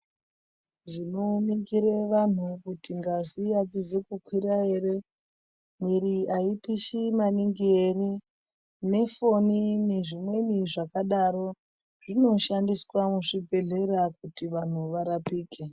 Zvinoningire vantu kuti ngazi adzizi kukwira ere mwiri aipishi maningi ere nefoni nezvimweni zvakadaro zvinoshandiswa muzvibhedhleya kuti vantu varapike.